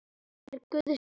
Það er Guðs gjöf.